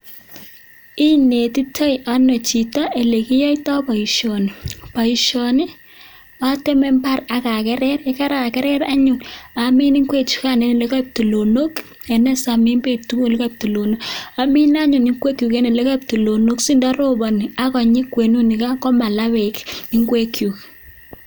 Inetitoi ano chito olekiyoito boishoni boishoni ateme mbaret aka kerer chekoik tulonok amine anyun inguek chuk asindorobonien kwenyun komala bek nguek chuk